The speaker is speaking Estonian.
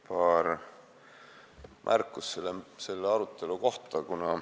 Paar märkust selle arutelu kohta.